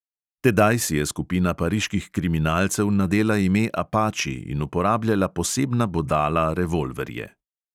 Tedaj si je skupina pariških kriminalcev nadela ime apači in uporabljala posebna bodala revolverje.